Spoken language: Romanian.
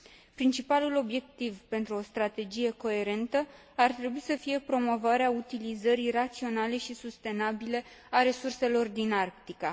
Principalul obiectiv pentru o strategie coerentă ar trebui să fie promovarea utilizării raționale și sustenabile a resurselor din Arctica.